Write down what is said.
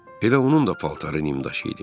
Elə onun da paltarı nimdaş idi.